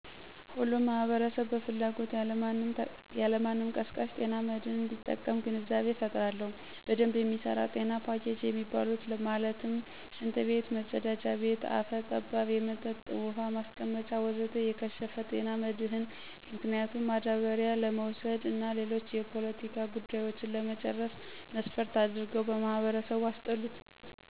ሁሉም ማህበረሰብ በፍላጎት ያለማንም ቀስቃሽ ጤና መድህን እንዲጠቀም ግንዛቤ እፈጥራለሁ። በደንብ የሚሰራ ጤና ፖኬጅ የሚባሉት ማለትም፦ ሽንት ቤት(መፀዳጃ ቤት)፣ አፈ ጠባብ የመጠጥ ውሀ ማስቀመጫ ወዘተ... የከሸፈ፦ ጤና መድህን ምክንያቱም ማዳበሪያ ለመውሰድ እና ሌሎች የፖለቲካ ጉዳዮችን ለመጨረስ መስፈርት አድርገው በማህበረሰቡ አስጠሉት።